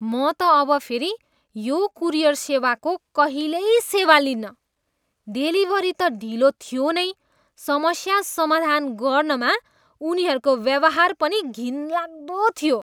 म त अब फेरि यो कुरियर सेवाको कहिल्यै सेवा लिन्नँ। डेलिभरी त ढिलो थियो नै समस्या समाधान गर्नमा उनीहरूको व्यवहार पनि घिनलाग्दो थियो।